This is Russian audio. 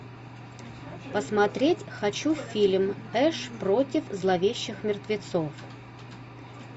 посмотреть хочу фильм эш против зловещих мертвецов